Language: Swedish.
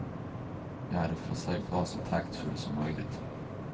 Jag hade försökt vara så taktfull som möjligt.